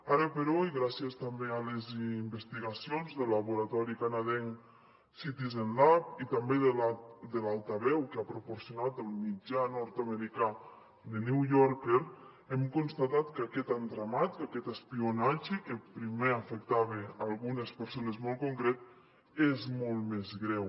ara però i gràcies també a les investigacions del laboratori canadenc citizen lab i també de l’altaveu que ha proporcionat el mitjà nord americà the new yorker hem constatat que aquest entramat aquest espionatge que primer afectava algunes persones molt concretes és molt més greu